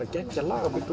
geggjað lag